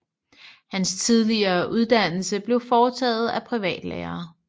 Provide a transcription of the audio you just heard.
Hans tidlige uddannelse blev foretaget af privatlærere